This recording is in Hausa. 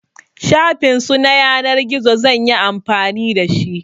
Shafin su na yanar gizo zan yi amfani da shi.